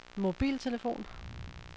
mobiltelefon